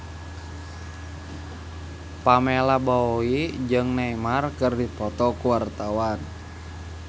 Pamela Bowie jeung Neymar keur dipoto ku wartawan